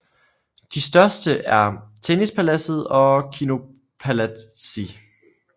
De største er Tennispaladset og Kinopalatsi